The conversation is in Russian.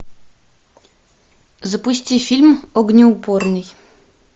запусти фильм огнеупорный